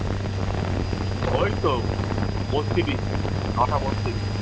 ওইতো বত্রিশ, নটা বত্রিশ।